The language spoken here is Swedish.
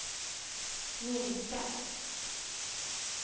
minska